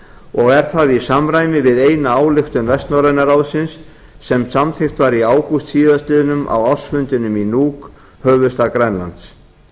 og er það í samræmi við eina ályktun vestnorræna ráðsins sem samþykkt var í ágúst síðastliðnum á ársfundinum í nuuk höfuðstað grænlands